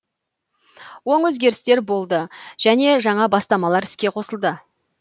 оң өзгерістер болды және жаңа бастамалар іске қосылды